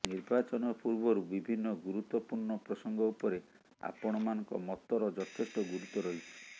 ନିର୍ବାଚନ ପୂର୍ବରୁ ବିଭିନ୍ନ ଗୁରୁତ୍ୱପୂର୍ଣ୍ଣ ପ୍ରସଙ୍ଗ ଉପରେ ଆପଣମାନଙ୍କ ମତର ଯଥେଷ୍ଟ ଗୁରୁତ୍ୱ ରହିଛି